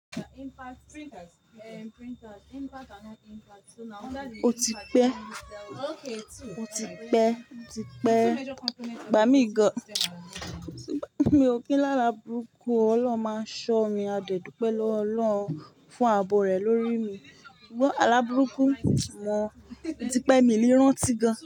O ti pẹ́, o ti pẹ́, o ti pẹ́, ìgbà mí gan-an, mi ò kí la àlá burúkú, Ọlọ́run máa n ṣọ́ mi, a dé dúpẹ́ lọ́wọ́ Ọlọ́run fún abo rẹ̀ lórí mi. Alábùrúkú ò sì mọ̀, ó ti pẹ́ mi ní rán tí gan.